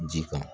Ji kan